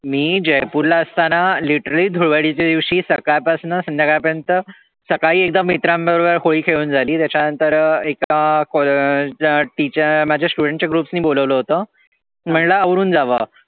मी जयपूर ला असताना literally धुळवडीच्या दिवशी सकाळ पासन संध्याकाळ पर्यंत सकाळी एकदा मित्रां बरोबर होळी खेळुन झाली त्याच्या नंतर एका माझ्या students च्या ग्रूप ने बोलावलं होतं म्हणलं आवरुन जावं